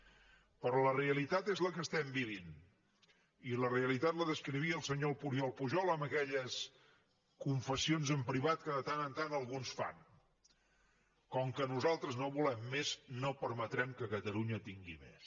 però la realitat és la que estem vivint i la realitat la descrivia el senyor oriol pujol amb aquelles confessions en privat que de tant en tant alguns fan com que nosaltres no volem més no permetrem que catalunya tingui més